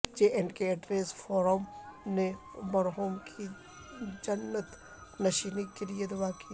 J and K editors forum نے مرحوم کی جنت نشیبی کیلئے دعا کی